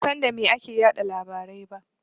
Ban san da me ake yaɗa labarai ba.